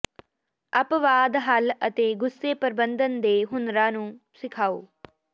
ਅਪਵਾਦ ਹੱਲ ਅਤੇ ਗੁੱਸੇ ਪ੍ਰਬੰਧਨ ਦੇ ਹੁਨਰਾਂ ਨੂੰ ਸਿਖਾਓ